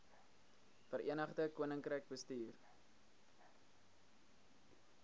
verenigde koninkryk bestuur